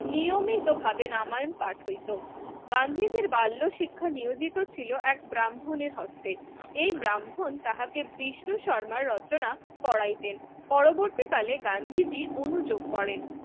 নিয়মিত ভাবে রামায়ন পাঠ হইতো। গান্ধিজীর বাল্য শিক্ষা নিয়োজিত এক ব্রাহ্মণ এর হস্তে এই ব্রাহ্মণ তাহাকে বিশ্বশর্মা রচনা পড়াইতেন পরবর্তী কালে গান্ধীজি অনুযোগ করেন